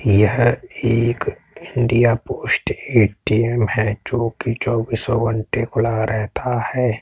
यह एक India post ATM. है जोकि चोबीसों घण्टे खुला रहता है।